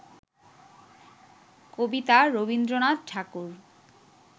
কবিতা Rabindranath ঠাকুর